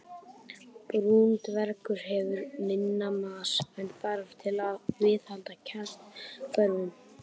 Brúnn dvergur hefur minni massa en þarf til að viðhalda kjarnahvörfum.